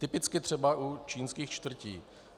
Typicky třeba u čínských čtvrtí.